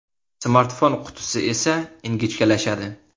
Smartfon qutisi esa ingichkalashadi.